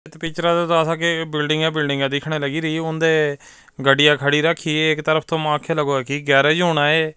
Picture ਤੋਂ ਦਸ ਸਕੇ ਬਿਲਡਿੰਗਾਂ ਹੀ ਬਿਲਡਿੰਗਾਂ ਦਿਖਣ ਲਾਗਰੀ ਉਹਦੇ ਗੱਡੀਆਂ ਖੜੀ ਰਾਖੀ ਇੱਕ ਤਰਫ ਤੋਂ ਮਾਖੋ ਲਗੋ ਠੀਕ ਗੈਰਾਜ਼ ਹੋਣਾ ਐ।